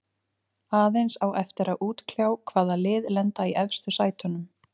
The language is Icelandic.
Aðeins á eftir að útkljá hvaða lið lenda í efstu sætunum.